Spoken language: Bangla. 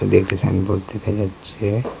দু'একটা সাইনবোর্ড দেখা যাচ্ছে।